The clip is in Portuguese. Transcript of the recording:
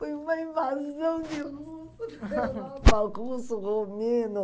Foi uma invasão de russo, russo, romeno.